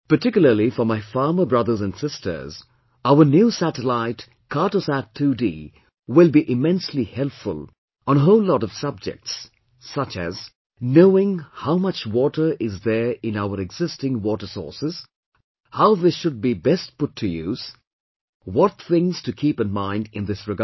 Particularly for my farmer brothers and sisters, our new Satellite Cartosat 2D will be immensely helpful on a whole lot of subjects such as knowing how much water is there in our existing water sources, how this should be best put to use, what things to keep in mind in this regard